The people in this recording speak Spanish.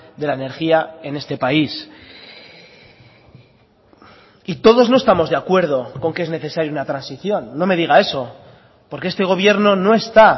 de la energía en este país y todos no estamos de acuerdo con que es necesario una transición no me diga eso porque este gobierno no está